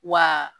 Wa